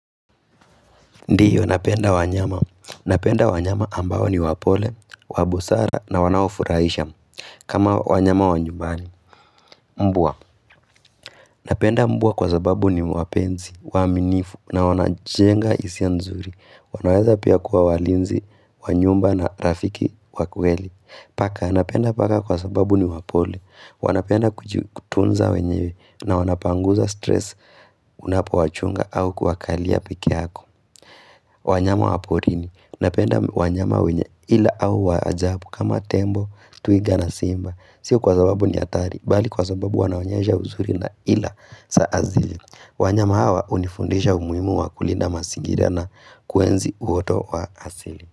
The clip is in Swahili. Ndiyo, napenda wanyama. Napenda wanyama ambao ni wapole, wa busara na wanaofurahisha. Kama wanyama wa nyumbani, mbwa. Napenda mbwa kwa sababu ni wapenzi, waaminifu na wanajenga hisia nzuri. Wanaweza pia kuwa walinzi, wa nyumba na rafiki wa kweli. Paka, napenda paka kwa sababu ni wapole. Wanapenda kujitunza wenyewe na wanapanguza stress unapowachunga au kuwakalia peke yako. Wanyama wa porini napenda wanyama wenye ila au wa ajabu kama tembo, twiga na simba. Sio kwa sababu ni hatari, bali kwa sababu wanaonyesha uzuri na ila za asili. Wanyama hawa unifundisha umuhimu wa kulinda mazingira na kuenzi uoto wa asili.